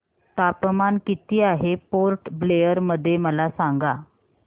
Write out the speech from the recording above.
तापमान किती आहे पोर्ट ब्लेअर मध्ये मला सांगा